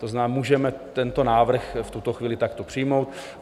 To znamená, můžeme tento návrh v tuto chvíli takto přijmout.